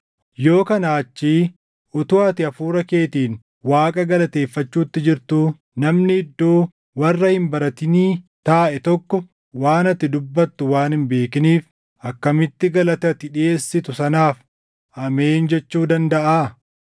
Yoo kanaa achii utuu ati hafuura keetiin Waaqa galateeffachuutti jirtuu, namni iddoo warra hin baratinii taaʼe tokko waan ati dubbattu waan hin beekiniif akkamitti galata ati dhiʼeessitu sanaaf “Ameen” jechuu dandaʼaa?